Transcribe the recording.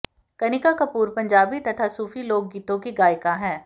कनिका कपूर पंजाबी तथा सूफी लोकगीतों की गायिका हैं